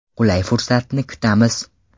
Qulay fursatni kutamiz”.